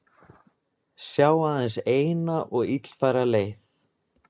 Sjá aðeins eina og illfæra leið